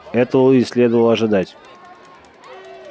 этого и следовало ожидать